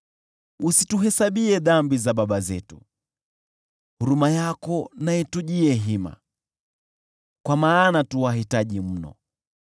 Usituhesabie dhambi za baba zetu, huruma yako na itujie hima, kwa maana tu wahitaji mno.